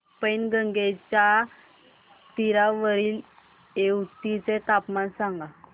पैनगंगेच्या तीरावरील येवती चे तापमान सांगा